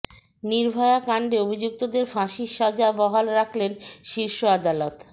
নির্ভয়া কাণ্ডে অভিযুক্তদের ফাঁসির সাজা বহাল রাখলেন শীর্ষ আদালত